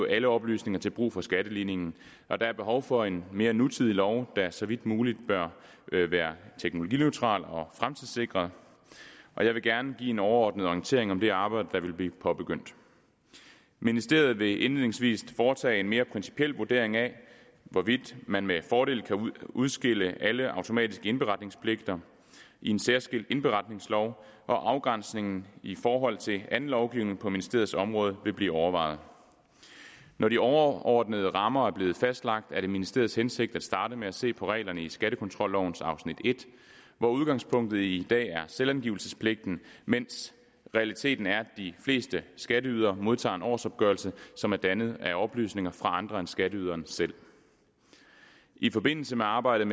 alle oplysninger til brug for skatteligningen og der er behov for en mere nutidig lov der så vidt muligt bør være teknologineutral og fremtidssikret jeg vil gerne give en overordnet orientering om det arbejde der vil blive påbegyndt ministeriet vil indledningsvis foretage en mere principiel vurdering af hvorvidt man med fordel kan udskille alle automatiske indberetningspligter i en særskilt indberetningslov hvor afgrænsningen i forhold til anden lovgivning på ministeriets område vil blive overvejet når de overordnede rammer er blevet fastlagt er det ministeriets hensigt at starte med at se på reglerne i skattekontrollovens afsnit i hvor udgangspunktet i dag er selvangivelsespligten mens realiteten er at de fleste skatteydere modtager en årsopgørelse som er dannet af oplysninger fra andre end skatteyderen selv i forbindelse med arbejdet